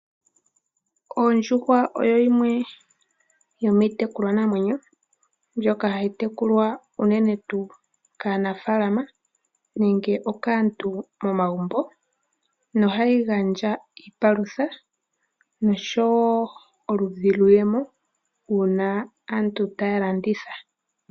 Ondjuhwa oyo yimwe yomiitekulwa namwenyo ndjoka hayi tekulwa unene tuu kaanafaalama nenge okaantu momagumbo nohayi gandja iipalutha noshowo oludhi lwiiyemo uuna aantu taya landitha.